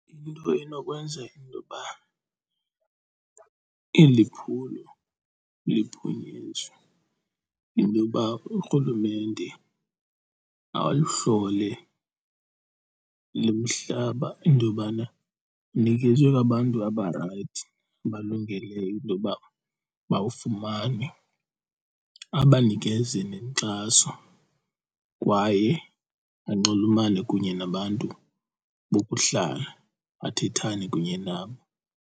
Into enokwenza intoba eli phulo liphunyenzwe yinto yoba urhulumente ayihlole le mihlaba into yobana inikezwe abantu abarayithi, abalungeleyo intoba bawufumane, abanikeze nenkxaso kwaye banxulumane kunye nabantu bokuhlala, athethane kunye nabo.